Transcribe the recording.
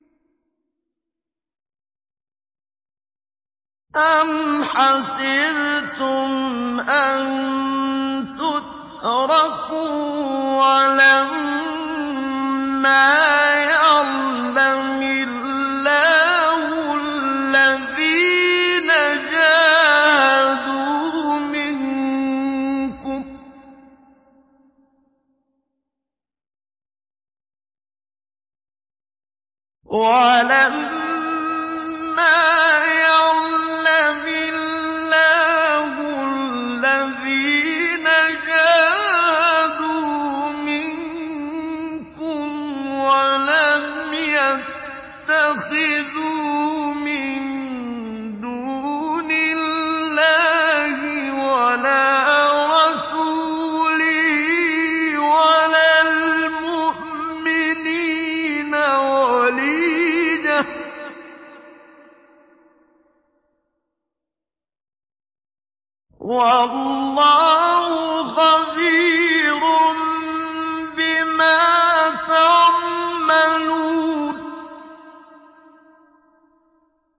أَمْ حَسِبْتُمْ أَن تُتْرَكُوا وَلَمَّا يَعْلَمِ اللَّهُ الَّذِينَ جَاهَدُوا مِنكُمْ وَلَمْ يَتَّخِذُوا مِن دُونِ اللَّهِ وَلَا رَسُولِهِ وَلَا الْمُؤْمِنِينَ وَلِيجَةً ۚ وَاللَّهُ خَبِيرٌ بِمَا تَعْمَلُونَ